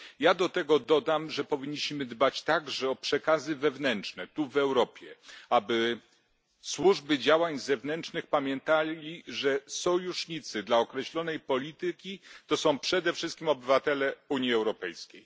Ja do tego dodam, że powinniśmy dbać także o przekazy wewnętrzne tu, w Europie, aby Służby Działań Zewnętrznych pamiętały, że sojusznicy dla określonej polityki to są przede wszystkim obywatele Unii Europejskiej.